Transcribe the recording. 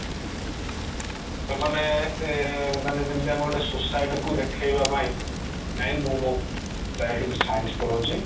ସେମାନେ ଏ ମାନେ ଯେମିତି ଆମେ ଗୋଟେ society କୁ ଦେଖେଇବା ପାଇଁ ନାଇଁ ମୁଁ ମୋ child କୁ science ପଢଉଛି